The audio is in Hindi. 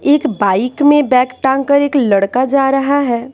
एक बाइक में बैग टांगकर एक लड़का जा रहा है।